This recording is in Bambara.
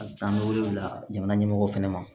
A bɛ taa an bɛ wele bila jamana ɲɛmɔgɔw fana ma